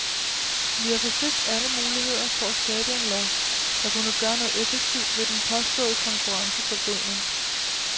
Vi har forsøgt alle muligheder for at skabe en lov, der kunne gøre noget effektivt ved den påståede konkurrenceforvridning.